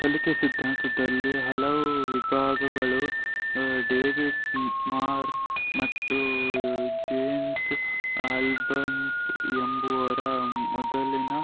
ಕಲಿಕೆ ಸಿದ್ಧಾಂತದಲ್ಲಿ ಹಲವು ವಿಭಾಗಗಳು ಡೇವಿಡ್ ಮಾರ್ ಮತ್ತು ಜೇಮ್ಸ್ ಆಲ್ಬಸ್ ಎಂಬುವರ ಮೊದಲಿನ